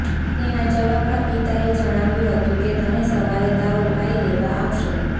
તેના જવાબમાં પિતાએ જણાવ્યું હતું કે તને સવારે તારો ભાઇ લેવા આવશે